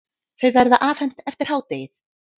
Þau verða afhent eftir hádegið.